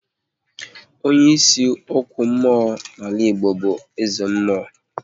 Onye ịsị okwu mmụọ n'ala Igbo bụ eze mmụọ